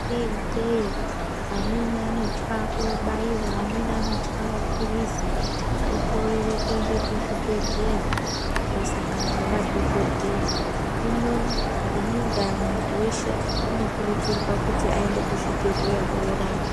..ikeyo, amweni anotya kuobaiwa amweni anotye maphilizi okorere kuenda kuzvibhedhleya koosangana nemadhokodheya. Hino ngeiyi ndaa muntu weshe anokurudzirwa kuti aende kuzvibhedhleya oorapwa.